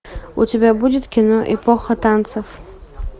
у тебя будет кино эпоха танцев